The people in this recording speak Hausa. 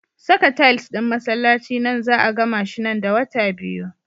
Saka tiles ɗin masallaci nan za 'a gamashi nan da wata biyu.